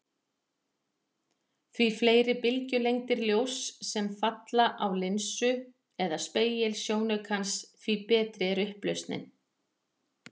Því fleiri bylgjulengdir ljóss sem falla á linsu eða spegil sjónaukans, því betri er upplausnin.